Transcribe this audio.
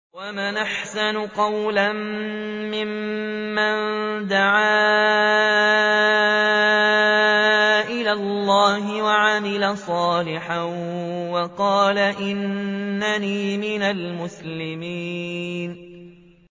وَمَنْ أَحْسَنُ قَوْلًا مِّمَّن دَعَا إِلَى اللَّهِ وَعَمِلَ صَالِحًا وَقَالَ إِنَّنِي مِنَ الْمُسْلِمِينَ